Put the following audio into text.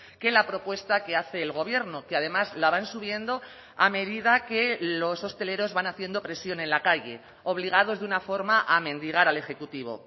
que la propuesta que hace el gobierno que además la van subiendo a medida que los hosteleros van haciendo presión en la calle obligados de una forma a mendigar al ejecutivo